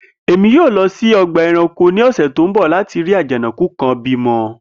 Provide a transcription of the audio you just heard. Emi yoo lọ si ọgba ẹranko ni ọsẹ ti n bọ lati rii ajanakun kan bimọ